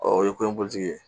o ye ko in ye